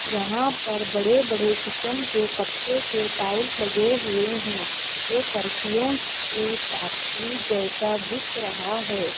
यहां पर बड़े बड़े किचन के कट्टे के टाइल्स लगे हुए हैं ये फार्सियों की फैक्ट्री जैसा दिख रहा है।